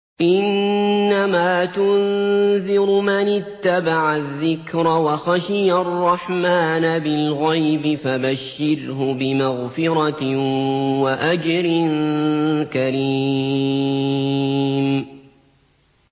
إِنَّمَا تُنذِرُ مَنِ اتَّبَعَ الذِّكْرَ وَخَشِيَ الرَّحْمَٰنَ بِالْغَيْبِ ۖ فَبَشِّرْهُ بِمَغْفِرَةٍ وَأَجْرٍ كَرِيمٍ